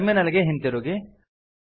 terminal ಗೆ ಹಿಂತಿರುಗಿ